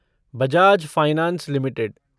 Bajaj finance limited